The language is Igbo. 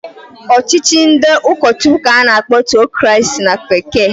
Ọchịchị ndị ụkọchụkwụ k'a na-akpọ Tiocrasi na bekee.